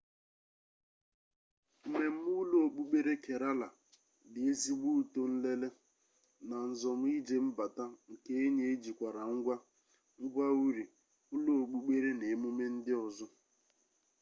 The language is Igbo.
mmeme ulo-okpukpere kerala di ezigbo uto nlele na nzom-ije mbata nke enyi ejikwara ngwa ngwa-uri ulo-okpukpere na emume ndi ozo